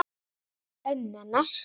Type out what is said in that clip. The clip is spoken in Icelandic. Ömmu hennar.